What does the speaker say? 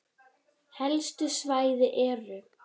Helstu svæði eru